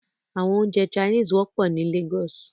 Àwọn oúnjẹ Chinese wọ́pọ̀ ní Lagos